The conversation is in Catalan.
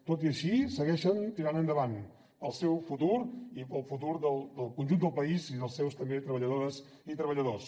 tot i així segueixen tirant endavant pel seu futur i pel futur del conjunt del país i també dels seus treballadores i treballadors